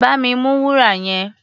Bá mi mú wúrà yẹn!